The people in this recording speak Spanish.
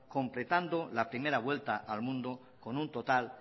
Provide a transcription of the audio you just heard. completando la primera vuelta al mundo con un total